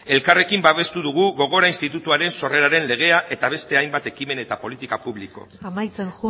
elkarrekin babestu dugu gogora institutuaren sorreraren legea eta beste hainbat ekimen eta politika publiko amaitzen